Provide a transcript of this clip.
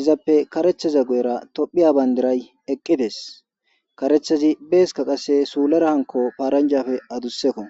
izappe karetheza goyera tophiya bayndiray eqqides karethezi beeska qasse suulara hanko faaranjafe adussekko